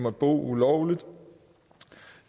og bo ulovligt